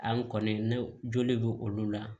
An kɔni ne joli bɛ olu la